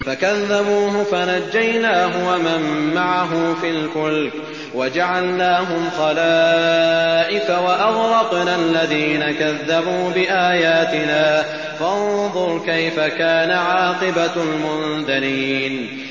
فَكَذَّبُوهُ فَنَجَّيْنَاهُ وَمَن مَّعَهُ فِي الْفُلْكِ وَجَعَلْنَاهُمْ خَلَائِفَ وَأَغْرَقْنَا الَّذِينَ كَذَّبُوا بِآيَاتِنَا ۖ فَانظُرْ كَيْفَ كَانَ عَاقِبَةُ الْمُنذَرِينَ